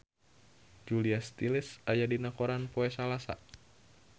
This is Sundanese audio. Julia Stiles aya dina koran poe Salasa